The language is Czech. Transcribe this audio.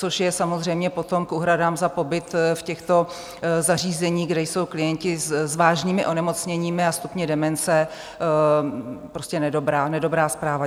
Což je samozřejmě potom k úhradám za pobyt v těchto zařízeních, kde jsou klienti s vážnými onemocněními a stupni demence, prostě nedobrá zpráva.